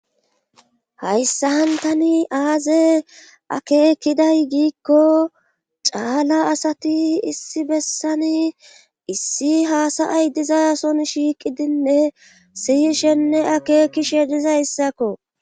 Hayssan tani aaze akeekiday giikko caala asati issi bessani issi haasayay dizaason shiiqidinne siyishenne akeekishe dizayssakko